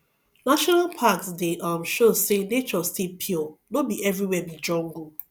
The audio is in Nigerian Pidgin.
national parks dey um show say nature still pure no be everywhere be jungle